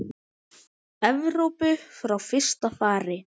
Evrópu frá fyrsta fari.